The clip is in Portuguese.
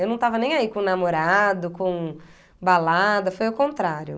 Eu não estava nem aí com namorado, com balada, foi o contrário.